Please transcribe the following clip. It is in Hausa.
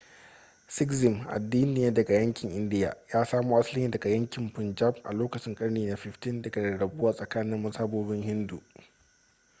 sikhism addini ne daga yankin india ya samo asali ne daga yankin punjab a lokacin karni na 15 daga rarrabuwa tsakanin mazhabobin hindu